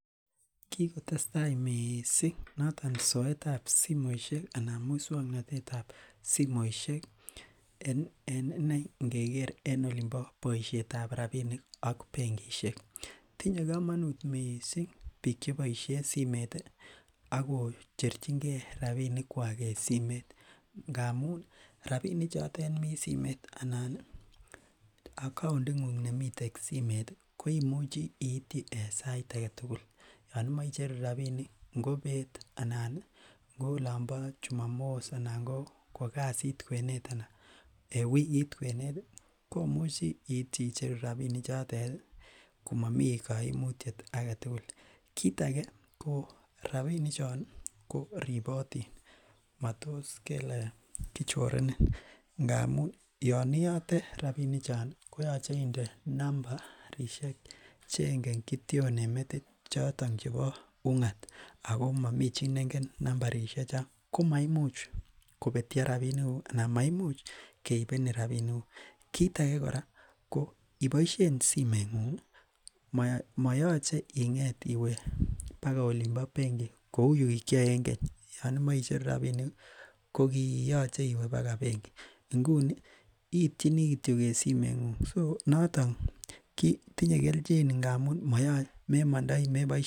kiigotestai miising noton soet ab somoishek iih anan muswoknotet ab simoishek en inei ningegeer en olimbo boishet ab rabinik ak bengishek, tinye komonuut mising biik cheboishen simeet iih ak kocherchigee rabinik kwaak en simeet, ngamuun rabinik choteet mii simeet anan account inguung nemii simeet iih koimuche iityi en sait agetugul, yoon imoche icheru rabinik kobeet iih anan ko olombo jumamos anan bo kogasiit kweneet anan en wikiit kweneet iih, komuchi iityi icheru rabinik chotet iih komomii koimutyet agetugul, kiit age ko rabinik chon iih koribotiin matos kele kichorenin ngamuun yon iyote rabinik chon iih koyoche inde numbarishek chengen kityoon en metit choton chebo ungaat ago momii chi nengen nambarishek chon komoimuch kobetyo rabinik guuk anna maimuch keibenin rabinik guuk, kiit age kora iboishen simoit nguung iih moyoche ingeet iwe bagai olimbo bengi kouu yuginkyoe en keny yon imoche icheru rabinik iih kogiyoche iwe bagai benki, nguni iityinii kityo en simeet nguung so noton kitinye kelchin ngamuun moyoche memondoi meboishen.